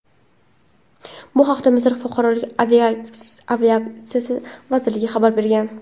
Bu haqda Misr fuqarolik aviatsiyasi vazirligi xabar bergan .